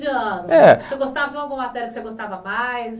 Você gostava de alguma matéria que você gostava mais?